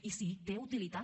i sí té utilitat